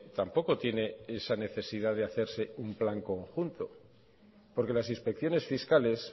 tampoco tiene esa necesidad de hacerse un plan conjunto porque las inspecciones fiscales